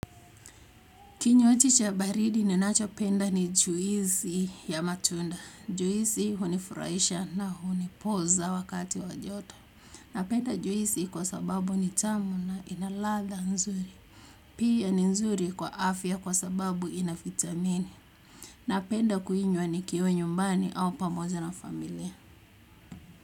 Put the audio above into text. Kinywaji cha baridi ninachopenda ni juisi ya matunda. Juisi hunifuraisha na hunipoza wakati wajoto. Napenda juisi kwa sababu ni tamu na ina latha nzuri. Pia ni nzuri kwa afya kwa sababu ina vitamini. Napenda kuinywa nikiwa nyumbani au pamoja na familia.